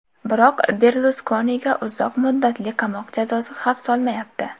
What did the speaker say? Biroq Berluskoniga uzoq muddatli qamoq jazosi xavf solmayapti.